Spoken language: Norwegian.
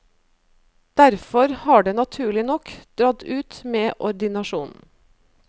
Derfor har det naturlig nok dratt ut med ordinasjonen.